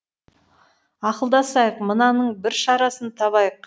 ақылдасайық мынаның бір шарасын табайық